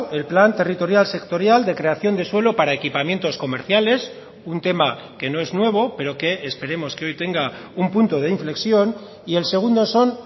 el plan territorial sectorial de creación de suelo para equipamientos comerciales un tema que no es nuevo pero que esperemos que hoy tenga un punto de inflexión y el segundo son